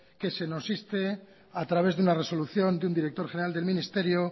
que se nos inste a través de una resolución de un director general del ministerio